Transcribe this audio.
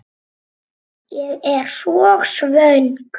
Ég er svo svöng.